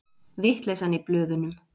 Vitleysan í blöðunum